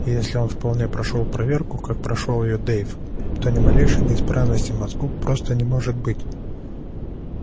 и если он вполне прошёл проверку как прошёл её дейв то ни малейшей неисправности в мозгу просто не может быть